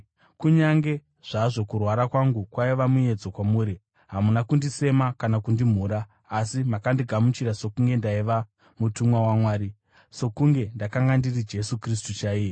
Kunyange zvazvo kurwara kwangu kwaiva muedzo kwamuri, hamuna kundisema kana kundimhura. Asi, makandigamuchira sokunge ndaiva mutumwa waMwari, sokunge ndakanga ndiri Jesu Kristu chaiye.